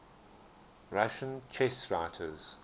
russian chess writers